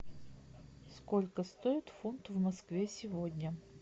сколько стоит фунт в москве сегодня